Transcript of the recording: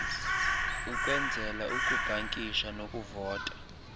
ukwenzela ukubhankisha nokuvota